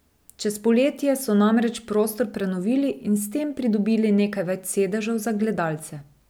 Čez poletje so namreč prostor prenovili in s tem pridobili nekaj več sedežev za gledalce.